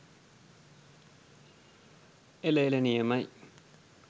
එල එල නියමයි